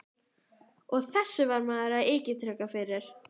Og þessu var maður að agitera fyrir!